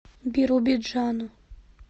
биробиджану